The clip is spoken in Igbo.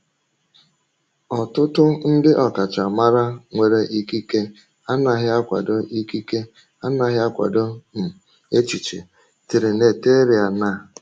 Ọtụtụ ndị ọkachamara nwere ikike anaghị akwado ikike anaghị akwado um echiche Trinitarian a.